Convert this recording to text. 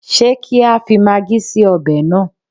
Ṣé kí á fi magí sí ọbẹ̀ náà?